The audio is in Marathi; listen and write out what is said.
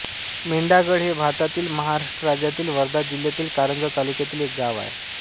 मेंढागड हे भारतातील महाराष्ट्र राज्यातील वर्धा जिल्ह्यातील कारंजा तालुक्यातील एक गाव आहे